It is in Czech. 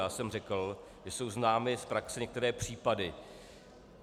Já jsem řekl, že jsou známy z praxe některé případy.